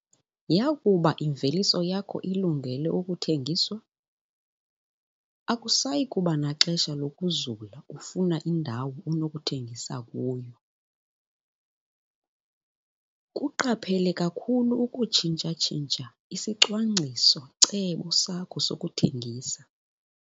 Yakuba imveliso yakho ilungele ukuthengiswa, akusayi kuba naxesha lokuzula ufuna indawo onokuthengisa kuyo. Kuqaphele kakhulu ukutshintsha-tshintsha isicwangciso-cebo sakho sokuthengisa.